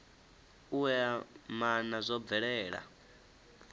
u ea maana zwo bvelela